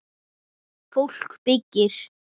Fólk byggir.